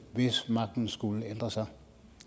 hvis magten skulle ændre sig